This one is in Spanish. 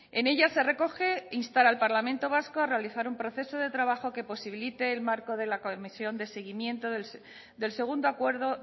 en ella se recoge instar al parlamento vasco a realizar un proceso de trabajo que posibilite el marco de la comisión de seguimiento del segundo acuerdo